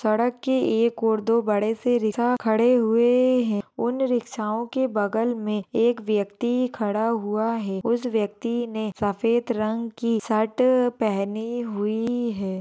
सडक के एक ओर दो बड़ेसे रिक्सा खडी हुई-- है उन रिक्स्सा होंके बगल मे एक व्यक्ति खड़ा हुआ है उस व्यक्ति ने सफ़ेद रंग की शर्ट पेहनी हुई है।